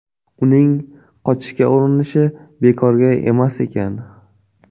Uning qochishga urinishi bekorga emas ekan.